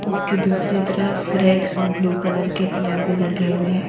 उसके दूसरे तरफ रेड और ब्लू कलर के पियागो लगे हुए हैं।